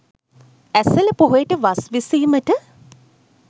ඇසළ පොහොයට වස් විසීමට